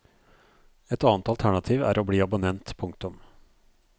Et annet alternativ er å bli abonnent. punktum